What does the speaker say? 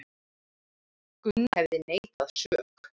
Gunnar hefði neitað sök